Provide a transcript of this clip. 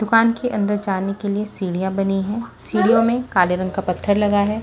दुकान के अंदर जाने के लिए सीढ़ियां बनी है सीढ़ियों में काले रंग का पत्थर लगा है।